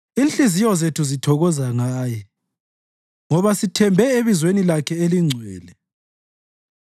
Inhliziyo zethu zithokoza Ngaye, ngoba sithembe ebizweni lakhe elingcwele.